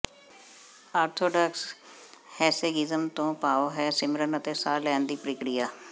orthodox hesychasm ਤੋਂ ਭਾਵ ਹੈ ਸਿਮਰਨ ਅਤੇ ਸਾਹ ਲੈਣ ਦੀ ਪ੍ਰਕਿਰਿਆ